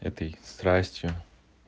этой страстью